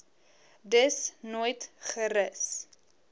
dus nooit gerus